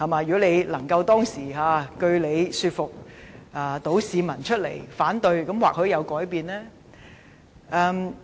如果他當時能據理說服市民出來反對，或許結果會有所改變。